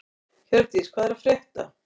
Hjördís, hvað er að frétta?